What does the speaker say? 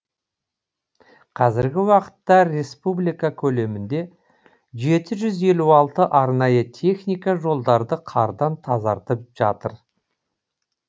қазіргі уақытта республика көлемінде жеті жүз елу алты арнайы техника жолдарды қардан тазартып жатыр